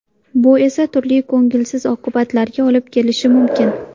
Bu esa turli ko‘ngilsiz oqibatlarga olib kelishi mumkin.